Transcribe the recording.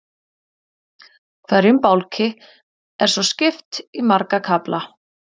Hverjum bálki er svo skipt í marga kafla.